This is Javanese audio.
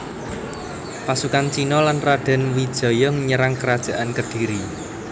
Pasukan Cina lan Radén Wijaya nyerang Kerajaan Kediri